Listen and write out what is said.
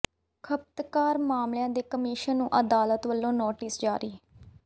ਖਪਤਕਾਰ ਮਾਮਲਿਆਂ ਦੇ ਕਮਿਸ਼ਨ ਨੂੰ ਅਦਾਲਤ ਵੱਲੋਂ ਨੋਟਿਸ ਜਾਰੀ